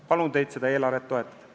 Palun teid seda eelarvet toetada!